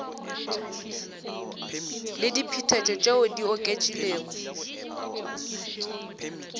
le diphetetšo tšeo di oketšegilego